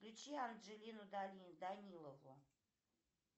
включи анджелину данилову